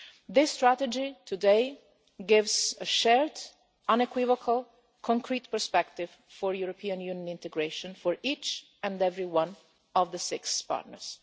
This strategy today gives a shared, unequivocal, concrete perspective for European Union integration for each and every one of the six partners.